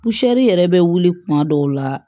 yɛrɛ bɛ wuli kuma dɔw la